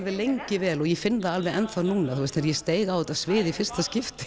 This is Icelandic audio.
lengi vel og finn alveg enn þá núna þegar ég steig á þetta svið í fyrsta skipti